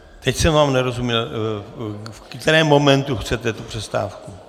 Teď jsem vám nerozuměl, v kterém momentu chcete tu přestávku.